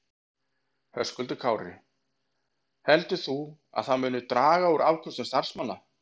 Höskuldur Kári: Heldur þú að það muni draga úr afköstum starfsmanna?